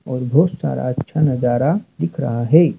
और बोहोत सारा अच्छा नजारा दिख रहा है।